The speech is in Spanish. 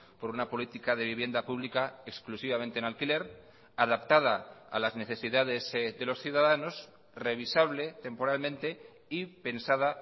por una política de vivienda pública exclusivamente en alquiler adaptada a las necesidades de los ciudadanos revisable temporalmente y pensada